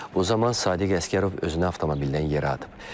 O zaman Sadiq Əsgərov özünü avtomobildən yerə atıb.